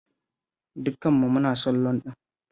Dukan mu muna son loan ɗin.